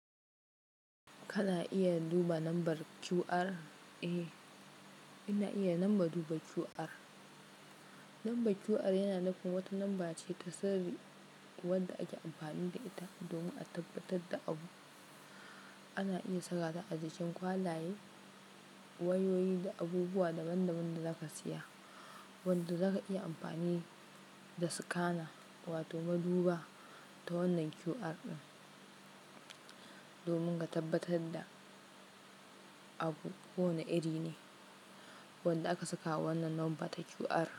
Kana iya duba lambar QR? Eh, ina iya lamba duba QR. Lambar QR yana nufin wata lamba ce ta sirri wadda ake amfani da ita domin a tabbatar da abu. Ana iya saka ta a jikin kwalaye, wayoyi da abubuwa daban-daban da zaka saya, wanda zaka iya amfani da scanner wato maduba ta wannan QR ɗin domin ka tabbatar da abu ko wane iri ne wanda aka saka wannan lamba ta QR.